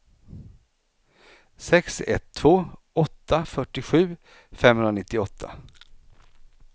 sex ett två åtta fyrtiosju femhundranittioåtta